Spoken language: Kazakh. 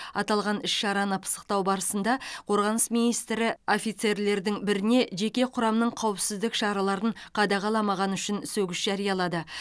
аталған іс шараны пысықтау барысында қорғаныс министрі офицерлердің біріне жеке құрамның қауіпсіздік шараларын қадағаламағаны үшін сөгіс жариялады